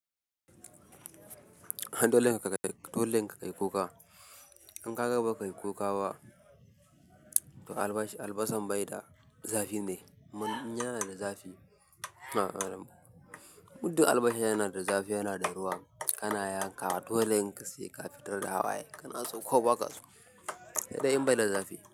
Ai dolen ka dolen ka kai kuka. In kaga bakai kuka ba to albasa albasan baida zafi ne. Man yana da zafi. Mudun albasa yana da zafi, yana da ruwa. Anaya ya kawq dole in ka saka fitar da hawaye. Kanaso ko baka so. Sai dai in bai da zafi.